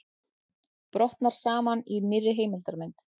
Brotnar saman í nýrri heimildarmynd